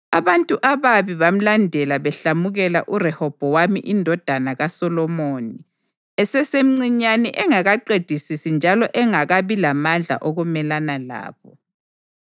Abantu ababi bamlandela behlamukela uRehobhowami indodana kaSolomoni esesemncinyane engakaqedisisi njalo engakabi lamandla okumelana labo.